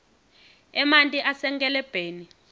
emanti asenkelebheni